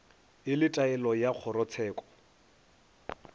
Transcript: e le taelo ya kgorotsheko